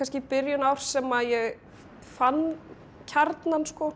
byrjun árs sem ég fann kjarnann